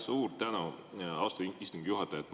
Suur tänu, austatud istungi juhataja!